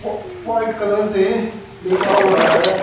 व white colour से लिखा हुआ है।